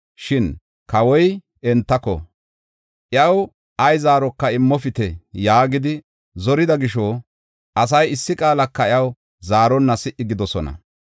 Shin kawoy entako, “Iyaw ay zaaroka immopite” yaagidi zorida gisho, asay issi qaalaka iyaw zaaronna si77i gidoosona.